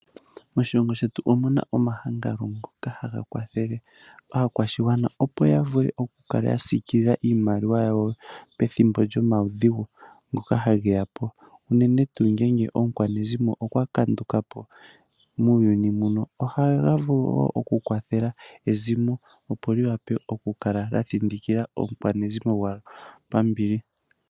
Moshilongo shetu omu na omahangano ngoka haga kwathele aakwashigwana opo ya vule oku kala ya siikilila iimaliwa yawo pethimbo lyomaudhigu ngoka hage yapo, unene ngaa ngele omukwanezimo gwawo okwa kanduka po muuyuni mbuno, ohaga vulu woo okukwathela ezimo, opo lyi wape oku kala lya thindikila omukwanezimo gwawo pambili.